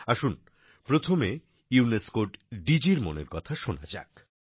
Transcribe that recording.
আসুন প্রথমে ইউনেস্কোর ডিজির মনের কথা শোনা যাক